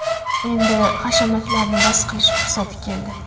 Endi hashamatlarni bas qilish fursati keldi!